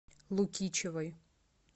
лукичевой